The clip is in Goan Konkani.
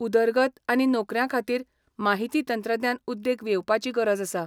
उदरगत आनी नोकऱ्यांखातीर माहिती तंत्रज्ञान उद्येग येवपाची गरज आसा.